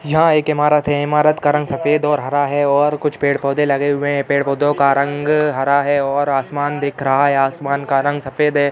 यहाँ एक ईमारत है। ईमारत का रंग सफ़ेद और हरा है और कुछ पेड़-पौधे लगे हुए हैं। पेड़-पौधो का रंग हरा है और आसमान दिख रहा है। आसमान का रंग सफ़ेद है।